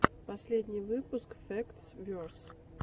последний выпуск фэктс верс